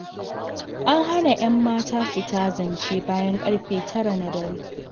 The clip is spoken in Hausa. An hana 'yan mata fita zance bayan ƙarfe 9 na dare.